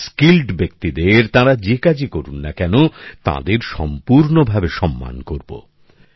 এবং দক্ষব্যক্তি দের তাঁরা যে কাজই করুন না কেন তাঁদের সম্পূর্ণভাবে সম্মান করবো